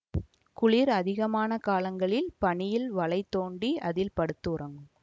குளிர் அதிகமான காலங்களில் பனியில் வளை தோண்டி அதில் படுத்து உறங்கும்